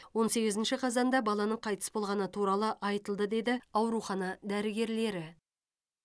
он сегізінші қазанда баланың қайтыс болғаны туралы айтылды деді аурухана дәрігерлері